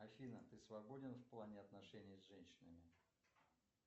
афина ты свободен в плане отношений с женщинами